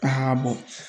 Aa